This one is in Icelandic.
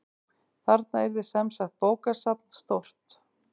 Þarna yrði semsagt bókasafn stórt.